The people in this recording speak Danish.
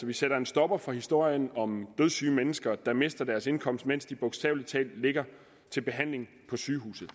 vi sætter en stopper for historien om dødssyge mennesker der mister deres indkomst mens de bogstavelig talt ligger til behandling på sygehuset